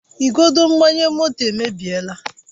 Igodo mgbanye moto emebiela